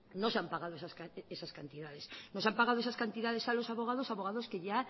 no se han pagado esas cantidades no se han pagado esas cantidades a los abogados abogados que ya